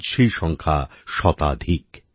আজ সেই সংখ্যা শতাধিক